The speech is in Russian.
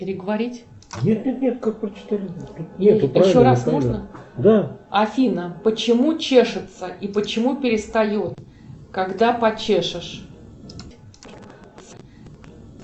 афина почему чешется и почему перестает когда почешешь